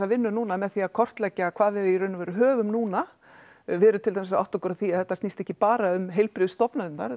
vinnu núna með því að kortleggja hvað við í raun og veru höfum núna við erum til dæmis að átta okkur á því að þetta snýst ekki bara um heilbrigðisstofnanirnar